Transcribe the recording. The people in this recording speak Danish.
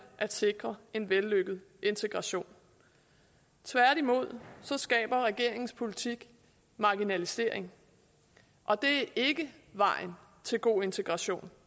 at sikre en vellykket integration tværtimod skaber regeringens politik marginalisering og det er ikke vejen til god integration